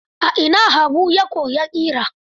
A ina Habu ya koyi ƙira?